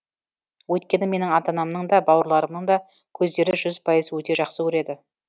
өйткені менің ата анамның да бауырларымның да көздері жүз пайыз өте жақсы көреді